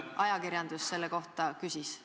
... kui ajakirjandus selle kohta küsis?